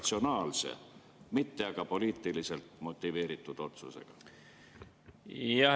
… ratsionaalse, mitte aga poliitiliselt motiveeritud otsusega?